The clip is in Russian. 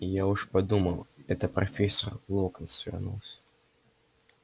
я уж подумал это профессор локонс вернулся